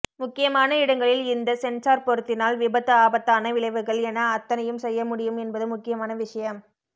முக்கியமான இடங்களில் இந்த சென்ஸார் பொருத்தினால் விபத்து ஆபத்தான வளைவுகள் என அத்தனையும் செய்ய முடியும் என்பது முக்கியமான விஷயம்